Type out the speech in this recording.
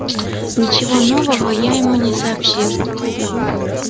ничего нового я ему не сообщил